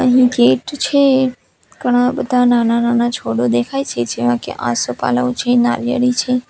અહીં ગેટ છે ઘણા બધા નાના-નાના છોડો દેખાય છે જેવા કે આસોપાલવ છે નાળિયેરી છે.